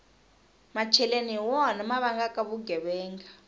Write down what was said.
macheleni hi wona ma vangaka vugevenga